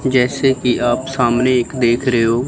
जैसे कि आप सामने एक देख रहे हो।